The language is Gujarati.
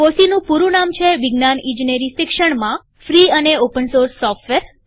FOSSEEનું પૂરું નામ છે વિજ્ઞાન અને ઇજનેરી શિક્ષણમાં free and open source software